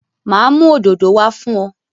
Ma mú òdòdó wá fún ọ